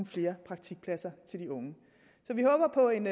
flere praktikpladser til de unge så vi håber på en